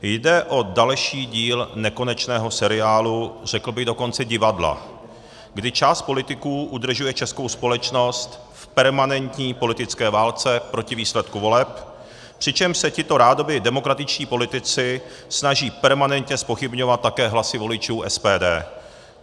Jde o další díl nekonečného seriálu, řekl bych dokonce divadla, kdy část politiků udržuje českou společnost v permanentní politické válce proti výsledku voleb, přičemž se tito rádoby demokratičtí politici snaží permanentně zpochybňovat také hlasy voličů SPD.